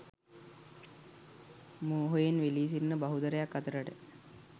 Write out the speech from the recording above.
මෝහයෙන් වෙලී සිටින බහුතරයක් අතරට